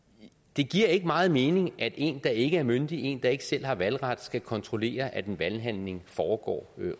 det giver ikke meget mening at en der ikke er myndig en der ikke selv har valgret skal kontrollere at en valghandling foregår